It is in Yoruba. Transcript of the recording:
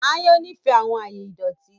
Àyàn nifẹ awọn aaye idọti